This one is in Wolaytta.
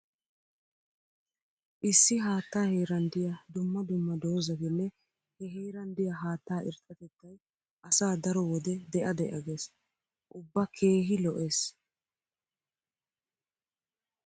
Issi haattaa heeran diya dumma dumma doozatinne he heeran diya haattaa irxxatettay asa daro wode de'a de'a gees. Ubba keehi lo'ees.